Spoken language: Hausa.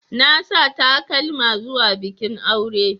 Na sa takalma zuwa bikin aure.